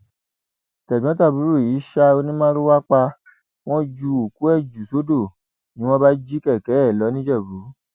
tẹgbọntàbúrò yìí ṣa onímàrúwà pa wọn ju òkú ẹ jù sódò ni wọn bá jí kẹkẹ ẹ lọ nìjẹbù